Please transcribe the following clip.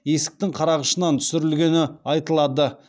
есіктің қарағышынан түсірілгені айтылады